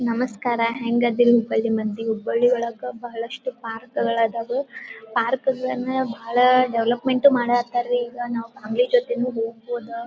ನಮಸ್ಕಾರ ಹೆಂಗದೀರಿ ಹುಬ್ಬಳ್ಳಿ ಮಂದಿ? ಹುಬ್ಬಳ್ಳಿ ಒಳಗ ಬಹಳಷ್ಟು ಪಾರ್ಕ್ ಗಳದಾವು ಪಾರ್ಕ್ ಗಳನ್ನ ಬಹಳ ಡೆವಲಪ್ಮೆಂಟ್ ಉ ಮಾಡಾಕತ್ತಾರ್ರಿ ಈಗ ನಾವು ಫ್ಯಾಮಿಲಿ ಜೊತಿನು ಹೊಗ್ಬೋದ.